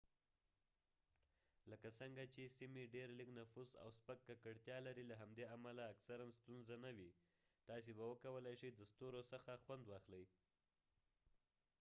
لکه څنګه چې سیمې ډیر لږ نفوس او سپک ککړتیا لری له همدې امله اکثرا ستونزه نه وي تاسي به وکولی شئ د ستورو څخه خوند واخلئ